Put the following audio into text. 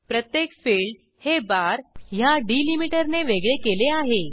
प्रत्येक फिल्ड हे बार ह्या delimiterने वेगळे केले आहे